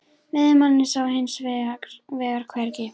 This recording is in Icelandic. Veiðimanninn sá ég hins vegar hvergi.